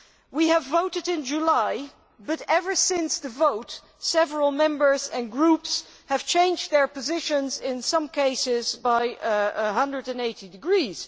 We voted in July, but ever since the vote, several Members and Groups have changed their positions, in some cases by 180 degrees.